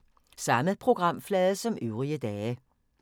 Samme programflade som øvrige dage